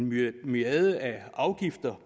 myriader af afgifter